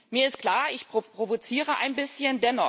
Mir ist klar Ich provoziere ein bisschen.